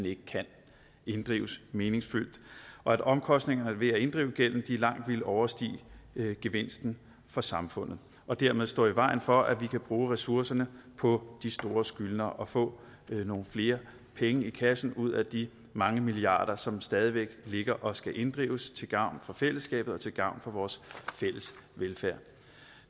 ikke kan inddrives meningsfyldt og at omkostningerne ved at inddrive gælden langt ville overstige gevinsten for samfundet og dermed stå i vejen for at vi kan bruge ressourcerne på de store skyldnere og få nogle flere penge i kassen ud af de mange milliarder som stadig væk ligger og skal inddrives til gavn for fællesskabet og til gavn for vores fælles velfærd